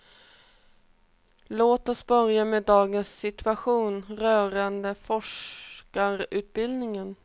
Låt oss börja med dagens situation rörande forskarutbildningen.